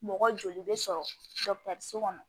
Mɔgɔ joli bɛ sɔrɔ kɔnɔ